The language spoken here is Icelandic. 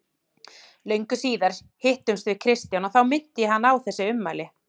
Löngu síðar hittumst við Kristján og þá minnti ég hann á þessi ummæli.